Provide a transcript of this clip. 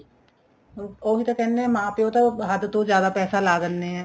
ਉਹੀ ਤਾਂ ਕਹਿਣੇ ਏ ਮਾਂ ਪਿਉ ਤਾਂ ਹੱਦ ਤੋਂ ਜਿਆਦਾ ਪੈਸੇ ਲਾ ਦੇਣੇ ਏ